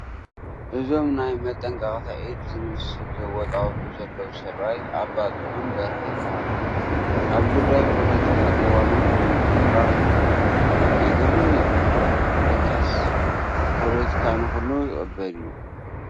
እዞም ናይ መጠንቀቕታ ኢድ ዝመስል ዘወጣውጡ ዘለዉ ሰብኣይ ኣባ ጥዑም በርሀ ይበሃሉ፡፡ ኣብ ጉዳይ ፖለቲካ ቅዋማት ብምንፅብራቕ ይፍለጡ፡፡ የግርም እዩ፡፡ ለካስ ፖለቲካ ንኹሉ ይቕበል እዩ፡፡